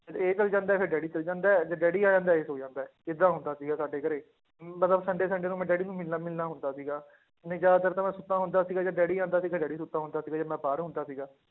ਇਹ ਚਲੇ ਜਾਂਦਾ ਹੈ, ਫਿਰ ਡੈਡੀ ਚਲੇ ਜਾਂਦਾ ਹੈ, ਜਦ ਡੈਡੀ ਆ ਜਾਂਦਾ ਹੈ ਇਹ ਸੌਂ ਜਾਂਦਾ ਹੈ, ਏਦਾਂ ਹੁੰਦਾ ਸੀਗਾ ਸਾਡੇ ਘਰੇ, ਮਤਲਬ sunday sunday ਨੂੰ ਮੈਂ ਡੈਡੀ ਨੂੰ ਮਿਲਣਾ ਮਿਲਣਾ ਹੁੰਦਾ ਸੀਗਾ, ਨਹੀਂ ਜ਼ਿਆਦਾਤਰ ਤਾਂ ਮੈਂ ਸੁੱਤਾ ਹੁੰਦਾ ਸੀਗਾ ਜਦ ਡੈਡੀ ਆਉਂਦਾ ਸੀ ਤੇ ਡੈਡੀ ਸੁੱਤਾ ਹੁੰਦਾ ਸੀਗਾ, ਜਦ ਮੈਂ ਬਾਹਰ ਹੁੰਦਾ ਸੀਗਾ